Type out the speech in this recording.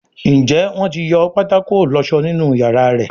Njé Wón tí yọ pátákó ìlósó nínú iyàrá rẹ?